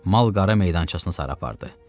Mal-qara meydançasına sarı apardı.